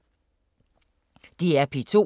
DR P2